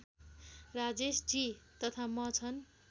राजेशजी तथा म छन्